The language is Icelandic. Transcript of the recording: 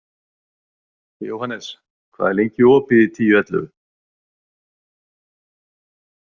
Jóhannes, hvað er lengi opið í Tíu ellefu?